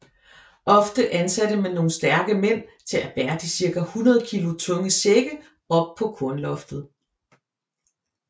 Ofte ansatte man nogle stærke mænd til at bære de cirka 100 kilo tunge sække op på kornloftet